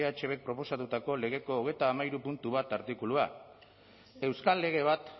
eh bk proposatutako legeko hogeita hamairu puntu bat artikulua euskal lege bat